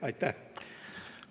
Aitäh!